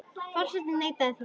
Forseti neitaði þeirri beiðni.